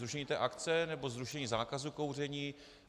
Zrušení té akce, nebo zrušení zákazu kouření?